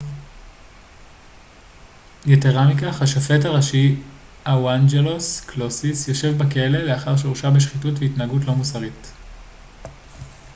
יתרה מכך השופט הראשי אוואנג'לוס קלוסיס יושב בכלא לאחר שהורשע בשחיתות ובהתנהגות לא מוסרית